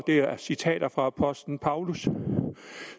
er citater fra apostlen paulus